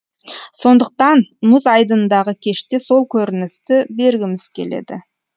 сондықтан мұз айдынындағы кеште сол көріністі бергіміз келеді